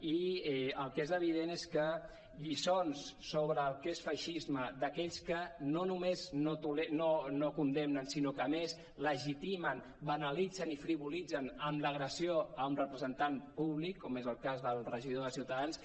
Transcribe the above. i el que és evident és que lliçons sobre el que és feixisme d’aquells que no només no condemnen sinó que a més legitimen banalitzen i frivolitzen amb l’agressió a un representant públic com és el cas del regidor de ciutadans